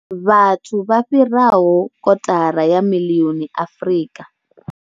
Vhathu vha fhiraho kotara ya miḽioni Afrika.